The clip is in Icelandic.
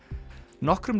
nokkrum